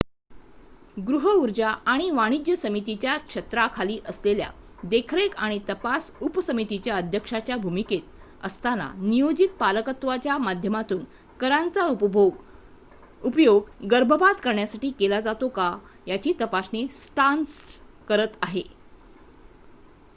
गृहऊर्जा आणि वाणिज्य समितीच्या छत्राखाली असलेल्या देखरेख आणि तपास उपसमितीच्या अध्यक्षाच्या भूमिकेत असताना नियोजित पालकत्वाच्या माध्यमातून करांचा उपयोग गर्भपात करण्यासाठी केला जातो का याची तपासणी स्टार्न्स करत आहेत